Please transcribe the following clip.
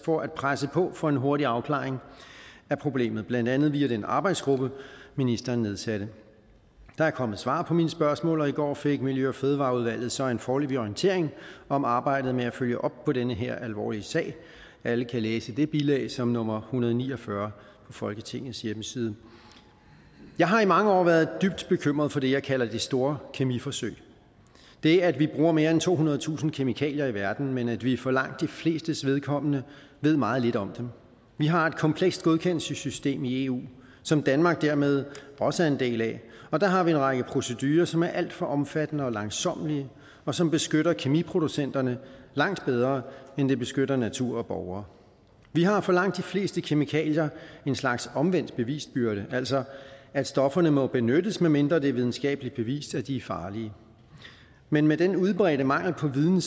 for at presse på for en hurtig afklaring af problemet blandt andet via den arbejdsgruppe ministeren nedsatte der er kommet svar på mine spørgsmål og i går fik miljø og fødevareudvalget så en foreløbig orientering om arbejdet med at følge op på den her alvorlige sag alle kan læse det bilag som nummer hundrede og ni og fyrre på folketingets hjemmeside jeg har i mange år været dybt bekymret for det jeg kalder det store kemiforsøg det at vi bruger mere end tohundredetusind kemikalier i verden men at vi for langt de flestes vedkommende ved meget lidt om dem vi har et komplekst godkendelsessystem i eu som danmark dermed også er en del af og der har vi en række procedurer som er alt for omfattende og langsommelige og som beskytter kemiproducenterne langt bedre end det beskytter natur og borgere vi har for langt de fleste kemikalier en slags omvendt bevisbyrde altså at stofferne må benyttes medmindre det er videnskabeligt bevist at de er farlige men med den udbredte mangel på viden